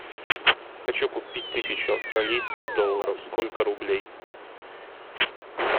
хочу купить тысячу австралийских долларов сколько рублей